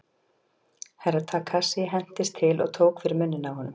Herra Takashi hentist til og tók fyrir munninn á honum.